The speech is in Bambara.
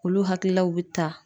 Olu hakililaw be ta.